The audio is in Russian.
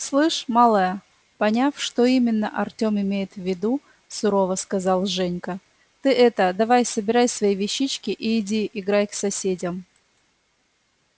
слышь малая поняв что именно артём имеет в виду сурово сказал женька ты это давай собирай свои вещички и иди играй к соседям